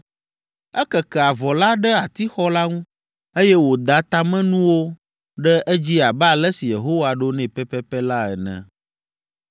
Ekeke avɔ la ɖe atixɔ la ŋu, eye wòda tamenuwo ɖe edzi abe ale si Yehowa ɖo nɛ pɛpɛpɛ la ene.